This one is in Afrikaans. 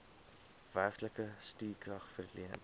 werklike stukrag verleen